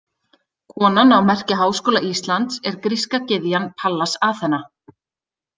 Konan á merki Háskóla Íslands er gríska gyðjan Pallas Aþena.